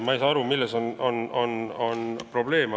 Ma ei saa aru, milles on probleem.